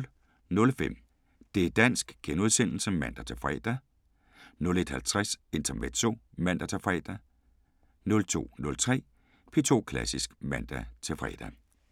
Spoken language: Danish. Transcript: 00:05: Det´ dansk *(man-fre) 01:50: Intermezzo (man-fre) 02:03: P2 Klassisk (man-fre)